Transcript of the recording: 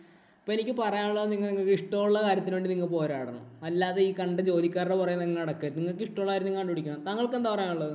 അപ്പൊ എനിക്ക് പറയാന്‍ ഉള്ളത് നിങ്ങക്ക് ഇഷ്ടം ഉള്ള കാര്യത്തിനു വേണ്ടി നിങ്ങൾ പോരാടണം. അല്ലാതെ ഈ കണ്ട ജോലിക്കാരുടെ പുറകെ നിങ്ങൾ നടക്കരുത്. നിങ്ങൾക്ക് ഇഷ്ടമുള്ള കാര്യം നിങ്ങൾ കണ്ടുപിടിക്കണം. താങ്കള്‍ക്ക് എന്താ പറയാന്‍ ഉള്ളത്?